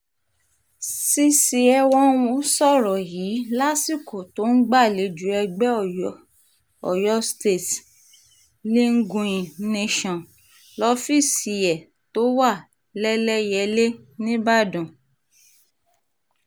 cc enwonwu sọ̀rọ̀ yìí lásìkò tó ń gbàlejò ẹgbẹ́ oyo state leagueing nation lọ́fíìsì ẹ̀ tó wà lẹ́lẹyẹ̀lẹ nìbàdàn